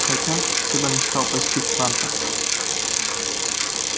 хотя всегда мечтал посетить трантор